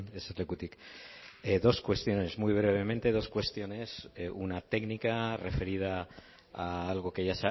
eserlekutik dos cuestiones muy brevemente dos cuestiones una técnica referida a algo que ya